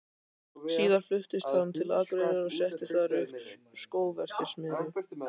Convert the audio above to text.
Síðar fluttist hann til Akureyrar og setti þar upp skóverksmiðju.